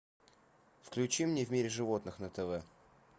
включи мне в мире животных на тв